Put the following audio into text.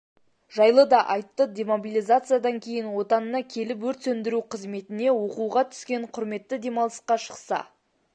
жайлы да айтты демобилизациядан кейін отанына келіп өрт сөндіру қызметіне оқуға түскен құрметті демалысқа шықса